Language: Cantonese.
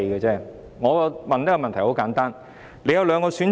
局長，你有兩個選擇。